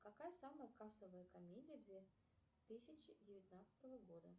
какая самая кассовая комедия две тысячи девятнадцатого года